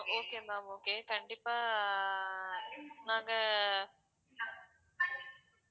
okay ma'am okay கண்டிப்பா நாங்க